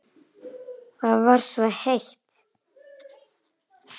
Það var svo heitt.